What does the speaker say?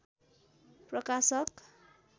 प्रकाशक